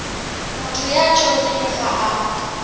motho ya tjhonneng ha a